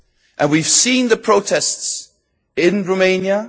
And we have seen the protests in Romania.